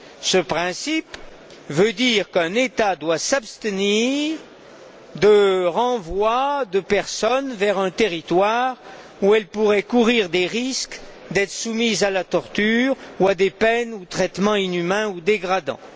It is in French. Ce principe veut dire qu'un État doit s'abstenir de renvoyer des personnes vers un territoire où elles pourraient courir le risque d'être soumises à la torture, à des peines ou à des traitements inhumains ou dégradants.